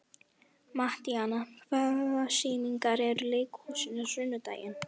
Mattíana, hvaða sýningar eru í leikhúsinu á sunnudaginn?